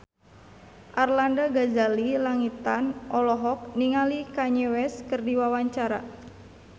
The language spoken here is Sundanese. Arlanda Ghazali Langitan olohok ningali Kanye West keur diwawancara